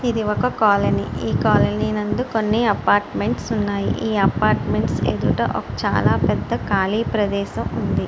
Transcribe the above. ఇది ఒక కాలనీ . ఈ కాలనీ నందు కొన్ని అపార్ట్మెంట్స్ ఉన్నాయి. ఈ అపార్ట్మెంట్స్ ఎదుట చాలా పెద్ద ఖాళీ ప్రదేశం ఉంది.